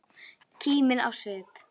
Kímin á svip.